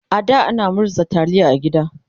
a da ana murza taliya a gida